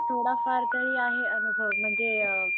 थोडा फार तरी आहे अनुभव म्हणजे अ